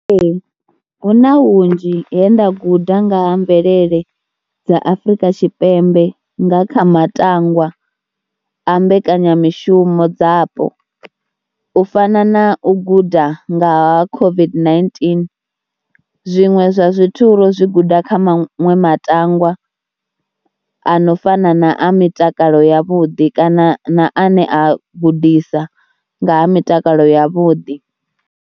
Ee, hu na hunzhi he nda guda nga ha mvelele dza Afrika Tshipembe nga kha matangwa a mbekanyamishumo dzapo u fana na u guda nga ha COVID-19. Zwiṅwe zwa zwithu ro zwi guda kha maṅwe matangwa ano fana na a mitakalo yavhuḓi kana na ane a gudisa nga ha mitakalo yavhuḓi.